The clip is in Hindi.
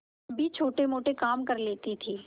भी छोटेमोटे काम कर लेती थी